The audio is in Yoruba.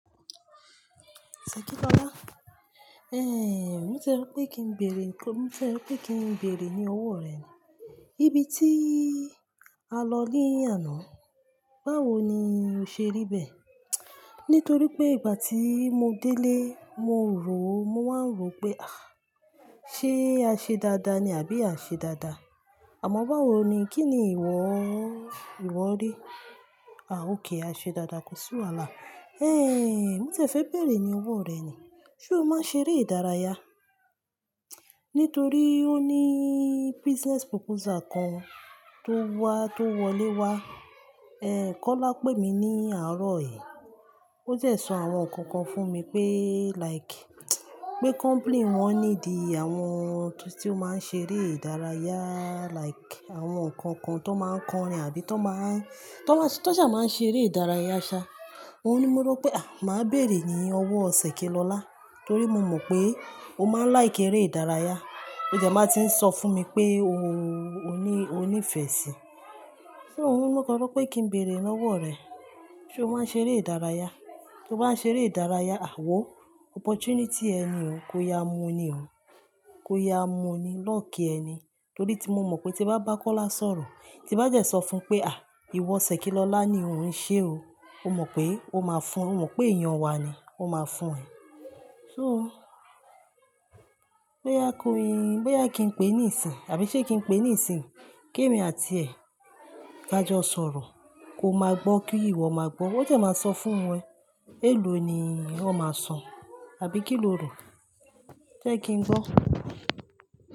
Sẹ̀kí lọlá. Ehn, mo tie rọ pé kí n béèrè nǹkan, mo tie rọ pé kí n béèrè ní owó rẹ ni. Ibi tí a lọ ní àná, báwo ni o ṣe ríbẹ̀? Nítorí pé ìgbà tí mo délé, mo rò ó, mo wáá ń rò pé, à, ṣe a ṣe dáadáa ni àbí a o ṣe dáadáa? Àmọ́ báwo ni, kí ni ìwọ, ìwọ rí? À, ókay, a ṣe dáadáa kò sí wàhálà. Ehn, mo tìẹ fẹ́ béèrè ní owó rẹ ni. Sé o máa ṣe eré ìdárayá? Nítorí ó ní business proposal kan tó wá, tó wọlé wá. Ehn, Kọ́lá pè mí ní àárọ̀ yí. O dẹ sọ àwọn nǹkan kan fún mi pé like, pé company wọn need àwọn tí ó máa ń ṣe eré ìdárayá like àwọn kan kan tó máa ń kọrin àbí tó máa ń, tó sá, tó sá máa ń ṣe eré ìdárayá ṣá. Ohun ní mo rọ pé à, màá béèrè ní owó Sẹ̀kí lọlá, torí mo mọ̀ pé o máa n like eré ìdárayá. O dẹ̀ máa ti ń sọ fún mi pé o ní, o ní ìfẹ́ sí i. So mo kan sọ pé kí n béèrè lọ́wọ́ rẹ. Sé o máa ṣe eré ìdárayá? Sé o máa ṣe eré ìdárayá? Wo, opportunity ẹ ni o. Ko yá mú ni o. Ko yá mú ni. Luck ẹ ni. Torí ti mo mọ̀ pé tí mo bá ba Kọ́lá sọ̀rọ̀, tí n bá dẹ́ sọ fún pé "À, ìwọ Sẹ̀kí lọlá ni ò ń ṣe o." O mọ̀ pé ó máa fún, o mọ̀ pé èèyàn wa ni ó máa fún ẹ. No, bóyá ko yi, bóyá kí n pè é ní ìsìnyi àbí ṣé kí n pè é ní ìsìnyi ki èmi àti ẹ̀ ka jọ sọ̀rọ̀, ko máa gbọ́ kí ìwọ máa gbọ́. O dẹ̀ máa sọ fún e. Èlò ni wọn máa san àbí kí lo rọ? Jẹ́ kí n gbọ́.